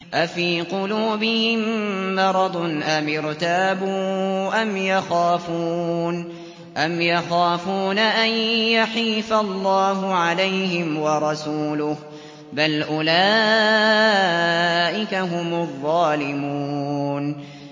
أَفِي قُلُوبِهِم مَّرَضٌ أَمِ ارْتَابُوا أَمْ يَخَافُونَ أَن يَحِيفَ اللَّهُ عَلَيْهِمْ وَرَسُولُهُ ۚ بَلْ أُولَٰئِكَ هُمُ الظَّالِمُونَ